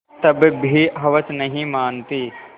तब भी हवस नहीं मानती